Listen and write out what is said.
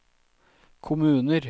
kommuner